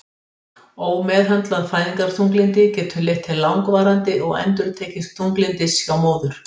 Ómeðhöndlað fæðingarþunglyndi getur leitt til langvarandi og endurtekins þunglyndis hjá móður.